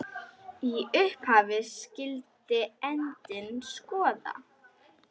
Í upphafi skyldi endinn skoða.